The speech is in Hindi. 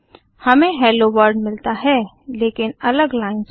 हमें हेलो वर्ल्ड मिलता है लेकिन अलग लाइन्स में